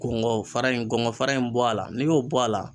Kɔngɔ fara in kɔngɔ fara in bɔ a la n'i y'o bɔ a la